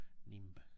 Nimb